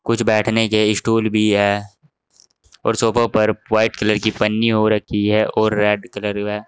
कुछ बैठने के स्टूल भी है और सोफों पर वाइट कलर की पन्नी हो रखी है और रेड कलर व--